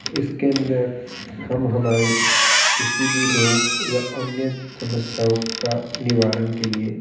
इसके अंदर हम हमारी किसी भी रोग व अन्य समस्याओं का निवारण के लिए --